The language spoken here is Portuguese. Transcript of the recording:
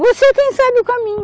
Você quem sabe o caminho.